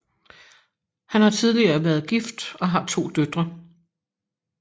Han har tidligere været gift og har to døtre